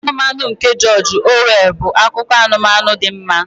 Ugbo Anụmanụ nke George Orwell bụ akụkọ anụmanụ dị mma.